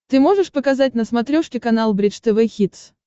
ты можешь показать на смотрешке канал бридж тв хитс